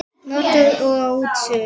Notaður og á útsölu